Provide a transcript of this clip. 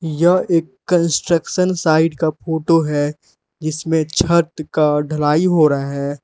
यह construction side का photo है इसमें छत का ढलाई हो रहा है।